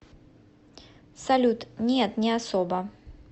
салют нет не особо